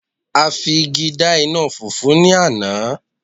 a fi igi da ina fufu ni Ana